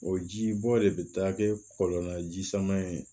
O ji bɔ de bɛ taa kɛ kɔlɔn na ji sama in ye